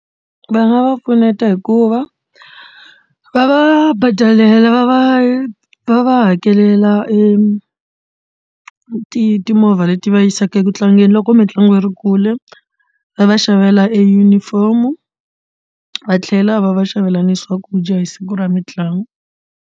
Va nga va pfuneta hikuva va va badela va va va va hakelela e timovha leti va yisaka eku tlangeni loko mitlangu yi ri kule va va xavela ejunifomo va tlhela va va xavelana swakudya hi siku ra mitlangu.